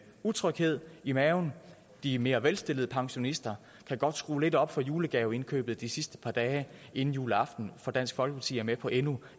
utryghed i maven de mere velstillede pensionister kan godt skrue lidt mere op for julegaveindkøbet de sidste par dage inden juleaften for dansk folkeparti er med på endnu